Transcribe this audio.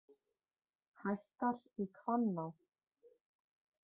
Hækkar í Hvanná